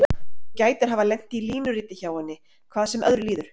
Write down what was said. Þú gætir hafa lent í línuriti hjá henni, hvað sem öðru líður.